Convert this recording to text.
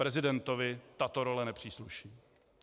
Prezidentovi tato role nepřísluší.